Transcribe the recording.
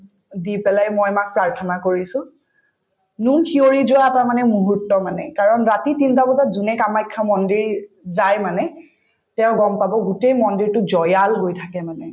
দি পেলাই মই মাক প্ৰাৰ্থনা কৰিছো নোম শিঁয়ৰি যোৱা এটা মানে মূহুৰ্ত মানে কাৰণ ৰাতি তিনটা বজাত যোনে কামাখ্যা মন্দিৰ যায় মানে তেওঁ গম পাব গোটেই মন্দিৰতোত হৈ থাকে মানে